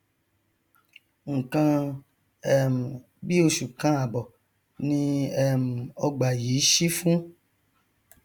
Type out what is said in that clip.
nkan um bí oṣù kan àbọ ni um ọgbà yìí ṣí fún